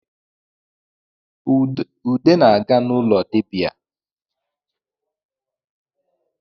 Ude na-aga n’ụlọ ndị dịbia